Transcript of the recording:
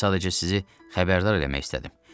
Mən sadəcə sizi xəbərdar eləmək istədim.